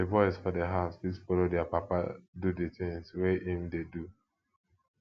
di boys for di house fit follow their papa do di things wey im dey do